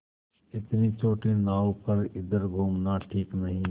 इतनी छोटी नाव पर इधर घूमना ठीक नहीं